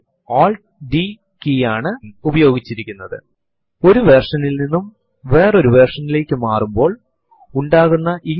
ഇത് hidden files അടക്കം എല്ലാ files കളും കാണിച്ചു തരുന്നുഇവിടെ ഹിഡൻ ഫൈൽസ് എന്ന് പറയുന്നതു ഫൈല്നേംസ് ഡോട്ട് നാൽ ആരംഭിക്കുന്നതിനെയാണ്